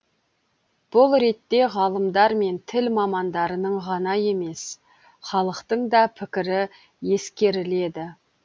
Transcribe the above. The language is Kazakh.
бұл ретте ғалымдар мен тіл мамандарының ғана емес халықтың да пікірі ескеріледі